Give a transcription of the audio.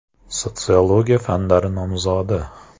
Sotsiologiya fanlari nomzodi.